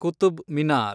Qutub Minar